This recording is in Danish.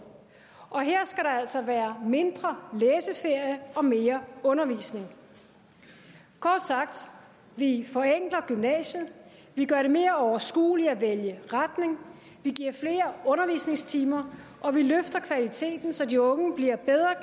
her skal der altså være mindre læseferie og mere undervisning kort sagt vi forenkler gymnasiet vi gør det mere overskueligt at vælge retning vi giver flere undervisningstimer og vi løfter kvaliteten så de unge bliver bedre